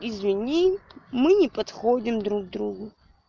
извини мы не подходим друг другу